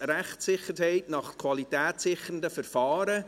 «Rechtssicherheit nach qualitätssichernden Verfahren».